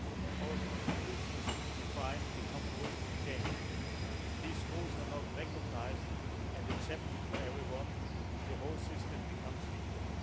Our constitutions define the common rules of the game if these rules are not recognised and accepted by everyone, the whole system becomes weaker.